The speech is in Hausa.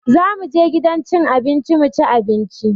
Za mu je gidan cin abinci mu ci abinci